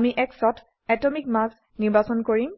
আমি X ত atomic mass পাৰমাণবিক ভৰ নিৰ্বাচন কৰিম